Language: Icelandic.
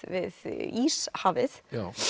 við Íshafið